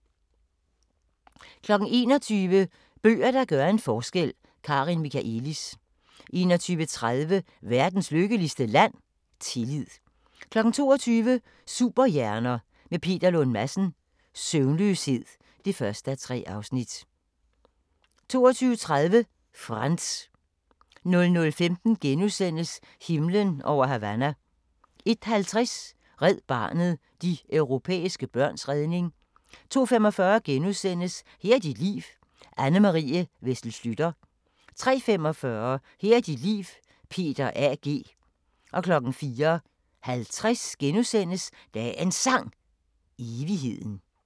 21:00: Bøger, der gør en forskel – Karin Michaëlis 21:30: Verdens lykkeligste land? -tillid 22:00: Superhjerner – med Peter Lund Madsen: Søvnløshed (1:3) 22:30: Frantz 00:15: Himlen over Havana * 01:50: Red Barnet – de europæiske børns redning 02:45: Her er dit liv – Anne Marie Wessel Schlüter * 03:45: Her er dit liv – Peter A. G. 04:50: Dagens Sang: Evigheden *